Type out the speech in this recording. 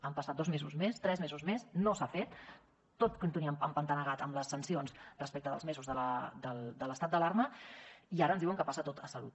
han passat dos mesos més tres mesos més no s’ha fet tot continua empantanegat amb les sancions respecte dels mesos de l’estat d’alarma i ara ens diuen que passa tot a salut